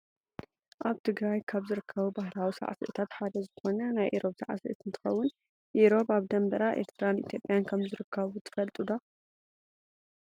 ኣብ ትግራይ ካብ ዝርከቡ ባህላዊ ሳዕስዒታት ሓደ ዝኮነ ናይ ኤሮብ ሳዕስዒት እንትከውን ኤሮብ ኣብ ደንበር ኤርትራን ኢትዮጵያን ከምዝርከቡ ትፈልጡ ዶ ?